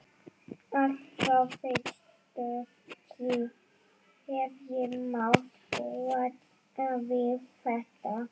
Allt frá fyrstu tíð hef ég mátt búa við þetta.